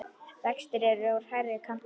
Vextir eru í hærri kanti.